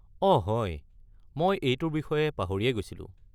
অঁ হয়, মই এইটোৰ বিষয়ে পাহৰিয়েই গৈছিলোঁ।